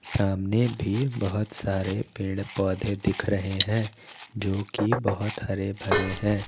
सामने भी बहोत सारे पेड़ पौधे दिख रहे हैं जो की बहोत हरे भरे हैं।